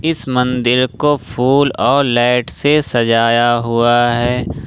इस मंदिर को फूल और लैट से सजाया हुआ है।